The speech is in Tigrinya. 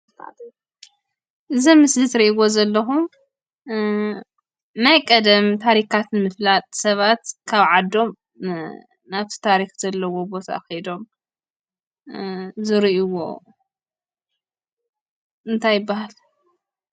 እዚ አብ ምስሊ ትሪእዎ ዘለኩም ናይ ቀደም ታሪካት ንምፍላጥ ሰባት ካብ ዓዶም ናብቲ ታሪክ ዘለዎ ቦታ ከይዶም ዝሪእዎ እንታይ ይበሃል?